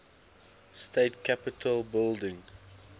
state capitol building